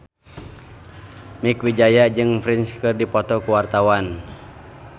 Mieke Wijaya jeung Prince keur dipoto ku wartawan